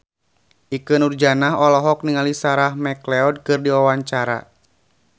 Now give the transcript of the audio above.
Ikke Nurjanah olohok ningali Sarah McLeod keur diwawancara